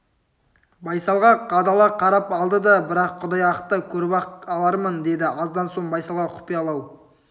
байсалға қадала қарап алды да бірақ құдай ақта көріп-ақ алармын деді аздан соң байсалға құпиялау